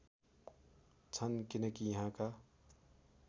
छन् किनकि यहाँका